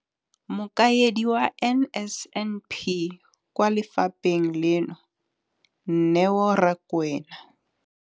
Mokaedi wa NSNP kwa lefapheng leno, Neo Rakwena,